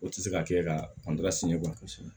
O tɛ se ka kɛ ka